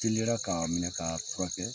Teliyara k'a minɛ, k'a furakɛ